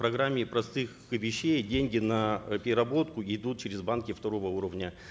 программе простых вещей деньги на э переработку идут через банки второго уровня